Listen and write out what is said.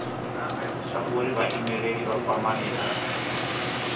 zwauri vhaimeleli vha kwamane na